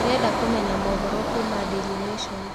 ndĩrenda kumenya mohoro kũũma daily nation